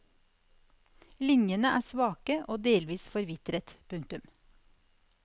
Linjene er svake og delvis forvitret. punktum